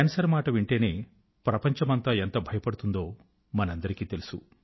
cancer మాట వింటేనే ప్రపంచమంతా ఎంత భయపడుతుందో మనకందరికీ తెలుసు